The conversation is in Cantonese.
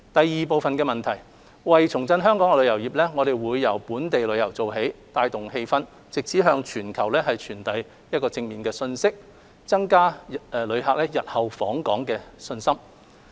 二為重振香港的旅遊業，我們會由本地旅遊做起，帶動氣氛，並藉此向全球傳遞正面信息，增加旅客日後訪港信心。